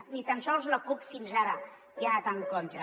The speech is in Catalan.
ni tan sols la cup fins ara hi ha anat en contra